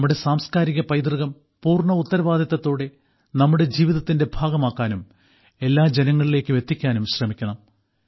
നമ്മുടെ സാംസ്ക്കാരികപൈതൃകം പൂർണ്ണ ഉത്തരവാദിത്തത്തോടെ നമ്മുടെ ജീവിതത്തിന്റെ ഭാഗമാക്കാനും എല്ലാ ജനങ്ങളിലേയ്ക്കും എത്തിക്കാനും ശ്രമിക്കണം